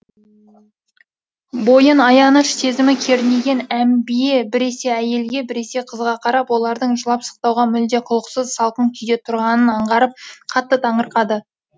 бойын аяныш сезімі кернеген әмбие біресе әйелге біресе қызға қарап олардың жылап сықтауға мүлде құлықсыз салқын күйде тұрғанын аңғарып қатты таңырқады